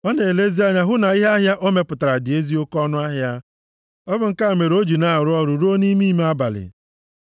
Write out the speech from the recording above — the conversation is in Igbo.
Ọ na-elezi anya hụ na ihe ahịa o mepụtara dị ezi oke ọnụahịa; ọ bụ nke a mere o ji na-arụ ọrụ ruo nʼime ime abalị.